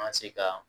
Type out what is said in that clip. An ka se ka